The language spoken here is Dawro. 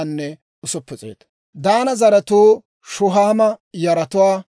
Daana zaratuu Shuhaama yaratuwaa.